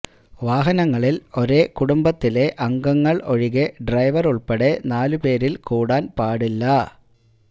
വാഹനങ്ങളിൽ ഒരേ കുടുംബത്തിലെ അംഗങ്ങൾ ഒഴികെ ഡ്രൈവർ ഉൾപ്പെടെ നാലു പേരിൽ കൂടാൻ പാടില്ല